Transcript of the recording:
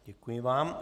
Děkuji vám.